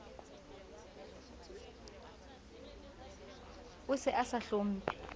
a se a sa hlomphe